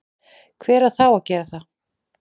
hver á þá að gera það?